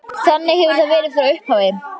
Þannig hefur það verið frá upphafi.